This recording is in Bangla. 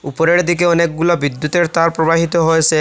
উপরের দিকে অনেকগুলা বিদ্যুতের তার প্রবাহিত হয়েসে।